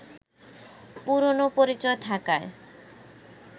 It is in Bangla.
পুরনো পরিচয় থাকায়